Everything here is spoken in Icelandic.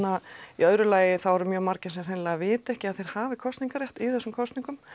í öðru lagi eru margir sem hreinlega vita ekki að þeir hafi kosningarétt í þessum kosningum